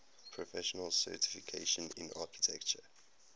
professional certification in architecture